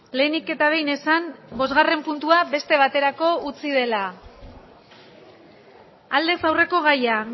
lehenik eta behin esan bosgarren puntua beste baterako utzi dela aldez aurreko gaia